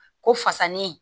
Ko fasani